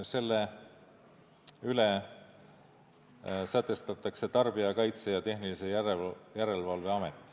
Selle üle hakkab otsustama Tarbijakaitse ja Tehnilise Järelevalve Amet.